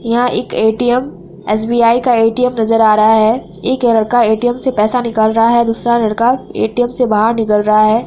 यहाँ एक ATM SBI का ए_टी_एम नजर आ रहा है| एक लड़का ए_टी_एम से पैसा निकल रहा है दूसरा लड़का ए_टी_एम से बाहर निकाल रहा है।